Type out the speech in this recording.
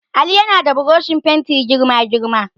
Ali yana da burushin fenti girma girma.